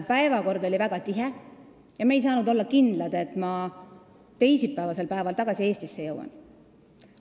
Päevakord oli väga tihe ja me ei saanud olla kindlad, et ma teisipäeval tagasi Eestisse jõuan.